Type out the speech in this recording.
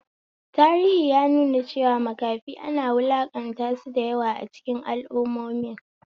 Tarihi ya nuna cewa makafi ana wulaƙanta sau da yawa a cikin al'ummomin.